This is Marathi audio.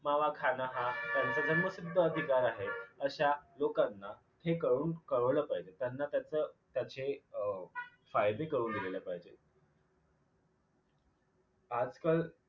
मावा खानं हा त्यांचा जन्मसिद्ध अधिकार आहे अश्या लोकांना हे कळवून कळवलं पाहिजे त्यांना त्याच त्याचे अ फायदे कळवून दिलेले पाहिजेत. आजकाल